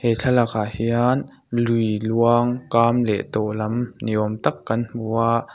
he thlalak ah hian lui luang kam leh tawh lam ni awm tak kan hmu a.